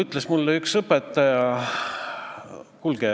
Mida annab teadmine, et näiteks Norras käivad inimesed keelekümbluslaagrites?